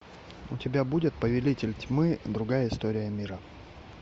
у тебя будет повелитель тьмы другая история мира